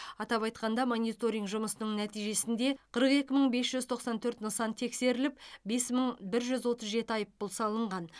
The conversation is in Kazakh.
атап айтқанда мониторинг жұмысының нәтижесінде қырық екі мың бес жүз тоқсан төрт нысан тексеріліп бес мың бір жүз отыз жеті айыппұл салынған